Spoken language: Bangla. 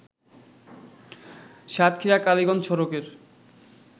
সাতক্ষীরা-কালিগঞ্জ সড়কের